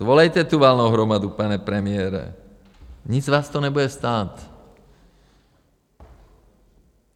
Svolejte tu valnou hromadu, pane premiére, nic vás to nebude stát.